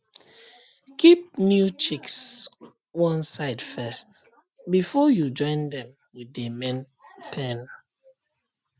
keep new chicks one side first before you join dem with the main pen